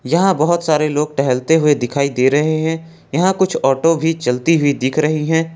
यहाँ बहोत सारे लोग टहलते हुए दिखाई दे रहे हैं यहां कुछ ऑटो चलती हुई दिख रही हैं।